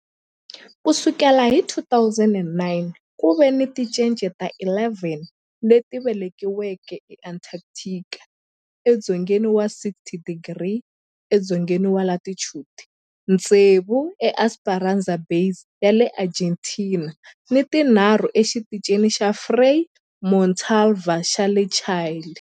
Ku sukela hi 2009, ku ve ni tincece ta 11 leti velekiweke eAntarctica, edzongeni wa 60 wa tidigri edzongeni wa latitude, tsevu eEsperanza Base ya le Argentina ni tinharhu eXitichini xa Frei Montalva xa le Chile.